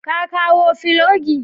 Ka kawo filogi?